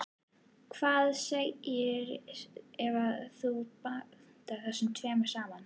Hvað gerist ef þú blandar þessu tvennu saman?